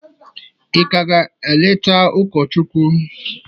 ị ka ga-eleta ụkọchukwu?